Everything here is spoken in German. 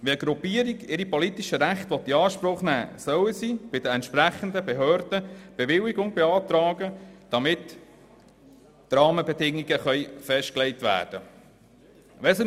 Wenn eine Gruppierung ihre politischen Rechte in Anspruch nehmen will, soll sie bei den entsprechenden Behörden eine Bewilligung beantragen, damit die Rahmenbedingungen festgelegt werden können.